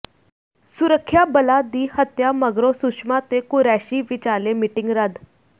ਸੁਰੱਖਿਆ ਬਲਾਂ ਦੀ ਹੱਤਿਆ ਮਗਰੋਂ ਸੁਸ਼ਮਾ ਤੇ ਕੁਰੈਸ਼ੀ ਵਿਚਾਲੇ ਮੀਟਿੰਗ ਰੱਦ